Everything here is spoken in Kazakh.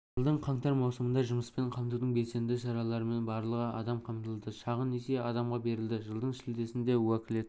жылдың қаңтар-маусымында жұмыспен қамтудың белсенді шараларымен барлығы адам қамтылды шағын несие адамға берілді жылдың шілдесіне уәкілетті